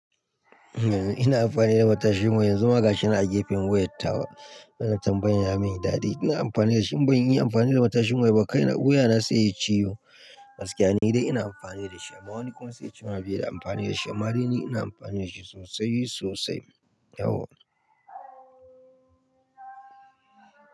Eh ina amfani da matashin ma yanzu magashinan a gefen wuyattawa. Wannan tambayan ya min dadi. Ina amfani da shi. Ban yi amfani da matashin mana ba kai na. Yuwa na sai yayi ciwo gaskiya. Ni dai ina amfani da shi. Ma wani kuma sai yace bai da amfani da shi? Amma dai ni ina amfani da shi sosai sosai yau.